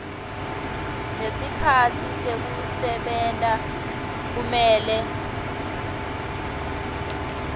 nesikhatsi sekusebenta kumele